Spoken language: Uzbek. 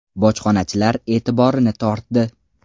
bojxonachilar etiborini tortdi.